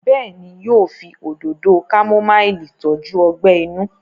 béèni yíò fí Òdòdó kámúmáìlì tọjú ogbè inú?